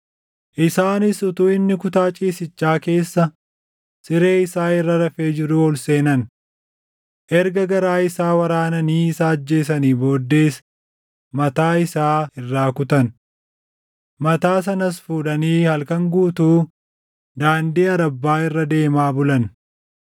Isaanis utuu inni kutaa ciisichaa keessa siree isaa irra rafee jiruu ol seenan. Erga garaa isaa waraananii isa ajjeesanii booddees mataa isaa irraa kutan. Mataa sanas fuudhanii halkan guutuu daandii Arabbaa irra deemaa bulan.